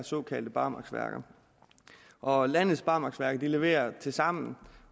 såkaldte barmarksværker og landets barmarksværker leverer tilsammen